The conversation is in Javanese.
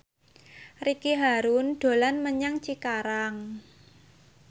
Ricky Harun dolan menyang Cikarang